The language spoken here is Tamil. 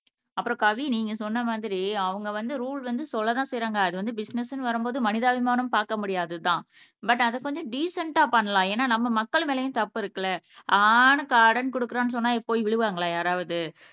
அப்புறம் கவி நீங்க சொன்ன மாதிரி அவங்க வந்து ரூல் வந்து சொல்லத்தான் செய்யறாங்க அது வந்து பிசினஸ்ன்னு வரும்போது மனிதாபிமானம் பாக்க முடியாதுதான் பட் அதை கொஞ்சம் டீசன்ட்டா பண்ணலாம் ஏன்னா நம்ம மக்கள் மேலயும் தப்பு இருக்குல்ல ஆன்னு கார்டுன்னு குடுக்கறேன்னு சொன்னா போய் விழுவாங்களா யாராவது